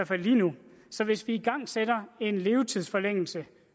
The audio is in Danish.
fald lige nu så hvis vi igangsætter en levetidsforlængelse